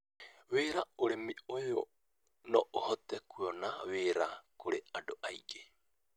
Wĩra: ũrĩmi ũyũ no ũhote kũeana wĩra kũrĩ andũ aingĩ,